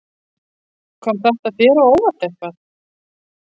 Kom þetta þér á óvart eitthvað?